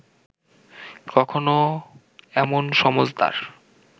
কখনো এমন সমজদার